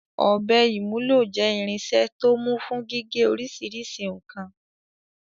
Ọ̀bẹ ìwúlò jẹ́ irinṣẹ́ tó mú fún gígé oríṣiríṣi nǹkan.